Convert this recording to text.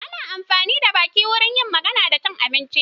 Ana amfani da baki wurin yin magana da cin abinci.